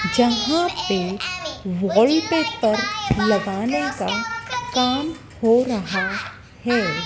जहां पे वॉलपेपर लगाने का काम हो रहा है।